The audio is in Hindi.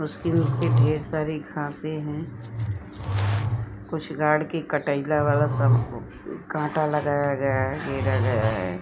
उसके नीचे ढेर सारी घासें हैं। कुछ गाड़ के कटइला वाला कांटा लगाया गया है। घेरा गया है।